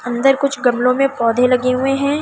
अंदर कुछ गमलों में पौधे लगे हुए हैं।